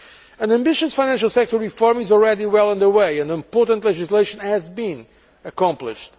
An ambitious financial sector reform is already well under way and important legislation has been accomplished.